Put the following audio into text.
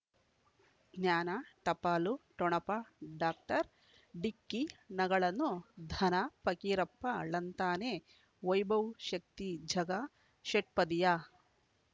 ಜ್ಞಾನ ಟಪಾಲು ಠೊಣಪ ಡಾಕ್ಟರ್ ಢಿಕ್ಕಿ ಣಗಳನು ಧನ ಫಕೀರಪ್ಪ ಳಂತಾನೆ ವೈಭವ್ ಶಕ್ತಿ ಝಗಾ ಷಟ್ಪದಿಯ